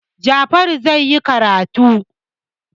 Jafaru zai yi karatu.